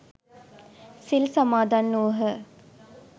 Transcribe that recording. සිල් සමාදන් වුහ.